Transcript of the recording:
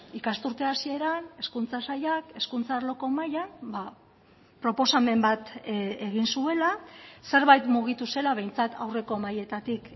ikasturte hasieran hezkuntza sailak hezkuntza arloko mahaian proposamen bat egin zuela zerbait mugitu zela behintzat aurreko mahaietatik